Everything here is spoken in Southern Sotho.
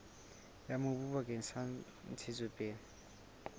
ya mobu bakeng sa ntshetsopele